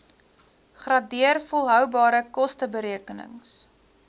gradeer volhoubare kosteberekenings